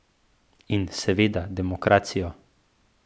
In seveda demokracijo.